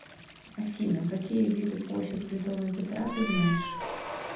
афина какие виды площадь святого петра ты знаешь